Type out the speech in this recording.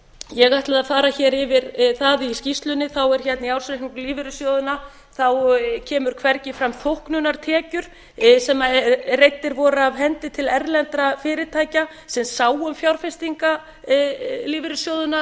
ég ætlaði að fara hér yfir það í skýrslunni það er hérna í ársreikningi lífeyrissjóðanna þá koma hvergi fram þóknunartekjur sem reiddar voru af hendi til erlendra fyrirtækja sem sáu um fjárfestingar lífeyrissjóðanna